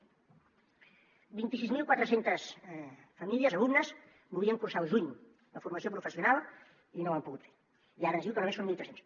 vint i sis mil quatre centes alumnes volien cursar al juny la formació professional i no ho han pogut fer i ara ens diu que només són mil tres cents